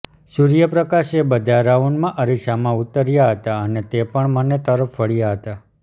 સૂર્યપ્રકાશ એ બધા રાઉન્ડમાં અરીસામાં ઉતર્યા હતા અને તે પણ મને તરફ વળ્યા હતા